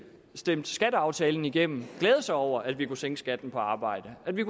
stemte skatteaftalen igennem glæde sig over at vi kunne sænke skatten på arbejde at vi